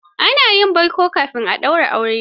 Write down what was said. Ana yin baiko kafin a daura aure.